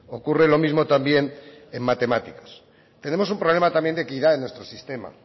ocurre lo mismo también en matemáticas tenemos un problema también de equidad en nuestro sistema